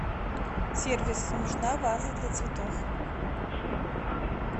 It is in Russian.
сервис нужна ваза для цветов